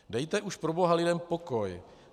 Dejte už proboha lidem pokoj!